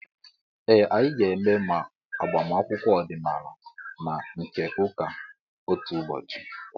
Ee, anyị ga-eme ma agbamakwụkwọ ọdịnaala na nke ụka otu ụbọchị